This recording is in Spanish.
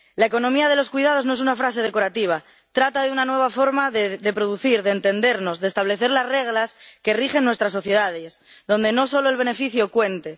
La economía de los cuidados, no es una frase decorativa trata de una nueva forma de producir, de entendernos, de establecer las reglas que rigen nuestras sociedades, donde no solo el beneficio cuente.